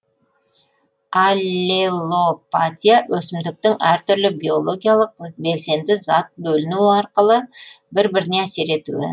аллелопатия өсімдіктің әртүрлі биологиялық белсенді зат бөліну арқылы бір біріне әсер етуі